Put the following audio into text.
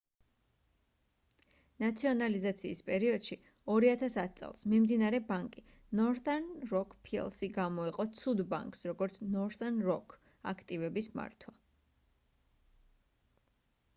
ნაციონალიზაციის პერიოდში 2010 წელს მიმდინარე ბანკი northern rock plc გამოეყო ცუდ ბანკს როგორც northern rock აქტივების მართვა